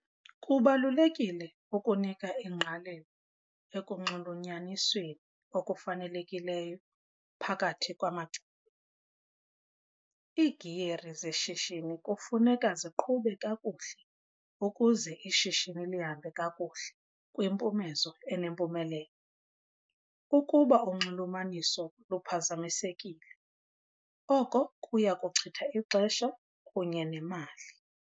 Kubalulekile ukunika ingqalelo ekunxulunyanisweni okufanelekileyo phakathi kwamacandelo. Iigiyeri zeshishini kufuneka ziqhube kakuhle ukuze ishishini lihambe kakuhle kwimpumezo enempumelelo. Ukuba unxulumaniso luphazamisekile oko kuya kuchitha ixesha kunye nemali.